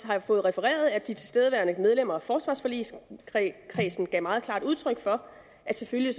har fået refereret at de tilstedeværende medlemmer af forsvarsforligskredsen gav meget klart udtryk for at selvfølgelig